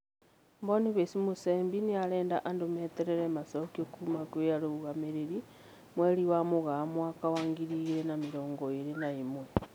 Boniface Musembi nĩarenda andũ meterere macokio kuma kwĩ arũgamĩrĩri, mweri wa Mũgaa mwaka wa ngiri igĩrĩ na mĩrongo ĩrĩ na ĩmwe